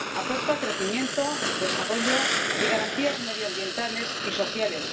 Aporta crecimiento, desarrollo y garantías medioambientales y sociales.